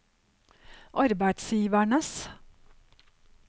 arbeidsgivernes